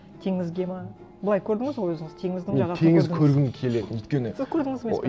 теңізге ме былай көрдіңіз ғой өзіңіз теңіздің жағасын көргім келеді өйткені сіз көрдіңіз емес пе